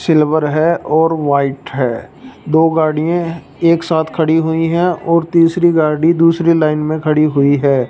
Silver है और white है दो गाड़िए एक साथ खड़ी हुई हैं और तीसरी गाड़ी दूसरी लाइन में खड़ी हुई है।